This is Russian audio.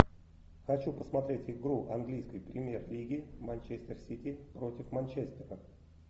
хочу посмотреть игру английской премьер лиги манчестер сити против манчестера